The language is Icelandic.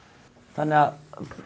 þannig að